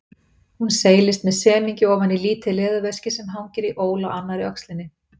Hún seilist með semingi ofan í lítið leðurveski sem hangir í ól á annarri öxlinni.